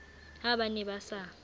ha ba ne ba sa